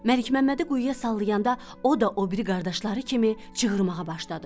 Məlikməmmədi quyuya sallayanda o da o biri qardaşları kimi cığırmağa başladı.